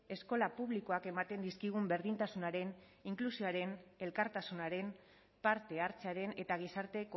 eskola publikoak ematen dizkigun berdintasunaren inklusioaren elkartasunaren parte hartzearen eta gizarte